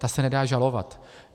Ta se nedá žalovat.